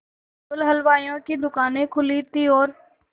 केवल हलवाइयों की दूकानें खुली थी और